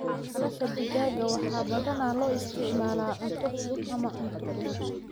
Baalasha digaaga waxaa badanaa loo isticmaalaa cunto fudud ama cunto fudud.